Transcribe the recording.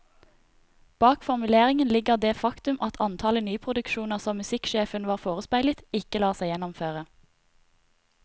Bak formuleringen ligger det faktum at antallet nyproduksjoner som musikksjefen var forespeilet, ikke lar seg gjennomføre.